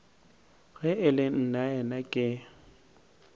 ge e le nnaena ke